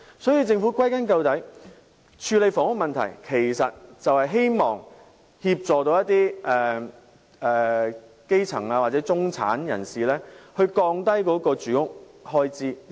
因此，歸根究底，政府處理房屋問題其實旨在協助一些基層或中產人士降低住屋開支。